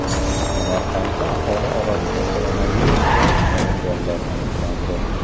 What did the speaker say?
Samarqandda aholi orasida koronavirusga chalinganlar aniqlandi.